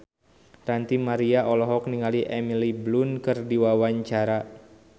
Ranty Maria olohok ningali Emily Blunt keur diwawancara